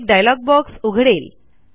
एक dialog box उघडेल